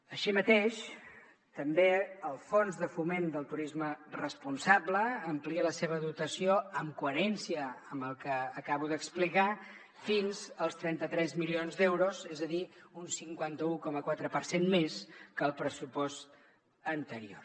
així mateix també el fons de foment del turisme responsable amplia la seva dotació en coherència amb el que acabo d’explicar fins als trenta tres milions d’euros és a dir un cinquanta un coma quatre per cent més que al pressupost anterior